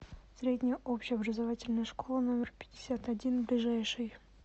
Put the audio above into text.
средняя общеобразовательная школа номер пятьдесят один ближайший